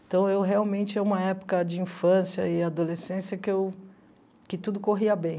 Então, eu realmente... É uma época de infância e adolescência que eu... Que tudo corria bem.